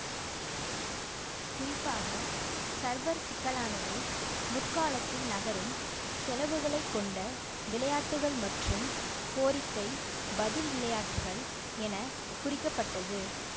குறிப்பாக சர்வர் சிக்கலானது முற்காலத்தில் நகரும் செலவுகளை கொண்ட விளையாட்டுகள் மற்றும் கோரிக்கைபதில் விளையாட்டுகள் என குறிக்கப்பட்டது